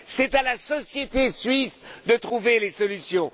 c'est à la société suisse de trouver les solutions.